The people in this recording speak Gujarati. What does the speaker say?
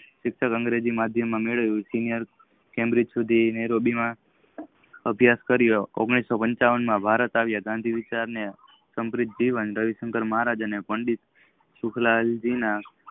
શિક્ષણ અંગ્રેજી માધ્યમ માં મેળવ્યુ સિનિયર કેન્દ્રિત સુધી લીંબી માં અભિયાસ કારીઓ ઓગણીસોપાનચાવન માં ભારત આવિયા ગાંધી વિચાર ને રવિસાકાર મહારાજ અને પંડત સુકલાજી